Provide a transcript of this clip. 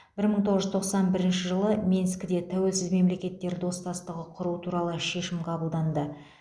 бір мың тоғыз жүз тоқсан бірінші жылы минскіде тәуелсіз мемлекеттер достастығы құру туралы шешім қабылданды